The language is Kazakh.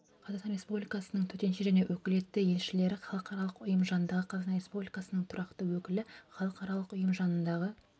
қазақстан республикасының төтенше және өкілетті елшілері халықаралық ұйым жанындағы қазақстан республикасының тұрақты өкілі халықаралық ұйым жанындағы